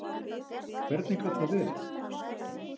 Hvernig gat það verið?